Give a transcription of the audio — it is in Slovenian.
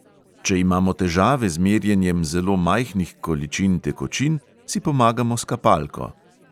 Če imamo težave z merjenjem zelo majhnih količin tekočin, si pomagamo s kapalko.